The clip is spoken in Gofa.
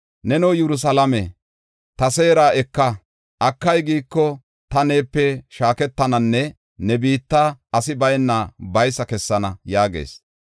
Neno Yerusalaame, ta seera eka. Akay, giiko, ta neepe shaaketananne ne biitta asi bayna baysa kessana” yaagees.